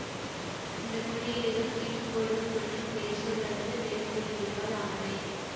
இந்த குறியீடுகள் கீற்றுக்கோடுகள் மற்றும் வேர்ச்சொல் அல்லது வேர் குறியீடுகளால் ஆனவை